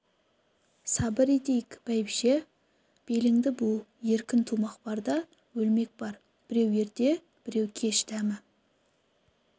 сабыр етейік бәйбіше беліңді бу беркін тумақ бар да өлмек бар біреу ерте біреу кеш дәмі